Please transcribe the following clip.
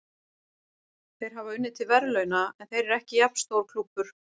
Þeir hafa unnið til verðlauna, en þeir eru ekki jafn stór klúbbur.